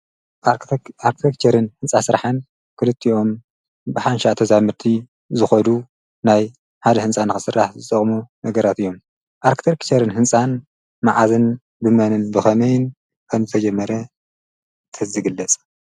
ኣርክተ ኽጨርን ሕንፃ ሥተዝግለጸልቲኦም ብሓንሻ ተዛሙህርቲ ዝኸዱ ናይ ሓደ ሕንፃን ዕሥራህ ዝቕሙ ነገራት እዮም ኣርክትርክጨርን ሕንፃን መዓዝን ብመንን ብኸመይን ከን ተየመረ ተዝግለጸ።